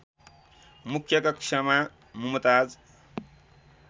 मुख्य कक्षमा मुमताज